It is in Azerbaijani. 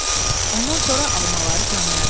Ondan sonra almaları tanıyaram.